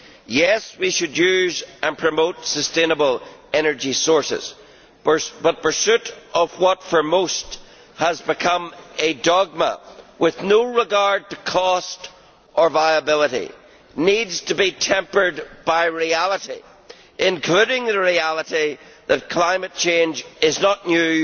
Yes, we should use and promote sustainable energy sources, but pursuit of what for most has become a dogma with no regard to cost or viability needs to be tempered by reality, including the reality that climate change is not new,